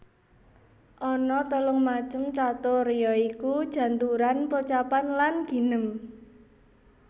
Ana telung macem catur ya iku janturan pocapan lan ginem